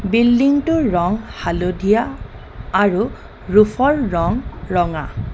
Building টোৰ ৰং হালধীয়া আৰু ৰুফ ৰ ৰং ৰঙা.